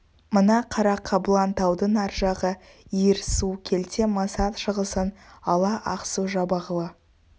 мына қара қабылан таудың ар жағы иірсу келте масат шығысын ала ақсу-жабағылы